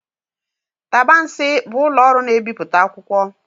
Tabansi bụ ụlọ ọrụ na ebipụta akwụkwọ.